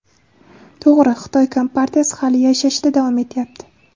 To‘g‘ri, Xitoy kompartiyasi hali yashashda davom etyapti.